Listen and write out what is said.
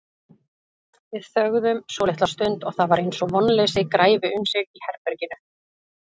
Við þögðum svolitla stund og það var eins og vonleysi græfi um sig í herberginu.